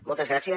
moltes gràcies